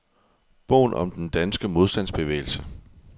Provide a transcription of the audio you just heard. Bogen om den danske modstandsbevægelse.